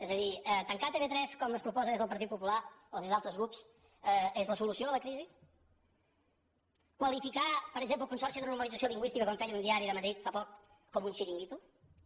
és a dir tancar tv3 com es proposa des del partit popular o des d’altres grups és la solució a la crisi qualificar per exemple el consorci de normalització lingüística com feia un diari de madrid fa poc com un xiringuito